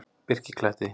Birkikletti